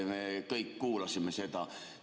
Me kõik kuulasime seda.